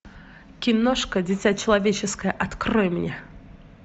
киношка дитя человеческое открой мне